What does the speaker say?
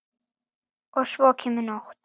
Og svo kemur nótt.